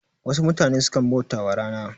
Wasu mutane sukan bautawa rana